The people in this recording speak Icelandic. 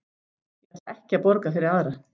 Ég ætla ekki að borga fyrir aðra.